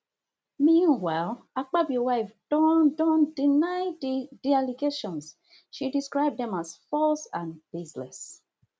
meanwhile akpabio wife don don deny di di allegations she describe dem as false and baseless